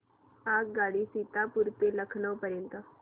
आगगाडी सीतापुर ते लखनौ पर्यंत